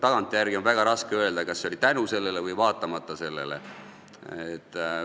Tagantjärele on väga raske öelda, kas see oli tänu sellele või vaatamata sellele.